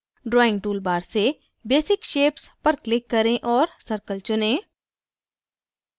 drawing toolbar से basic shapes पर click करें और circle चुनें